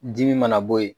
Dimi mana bɔ yen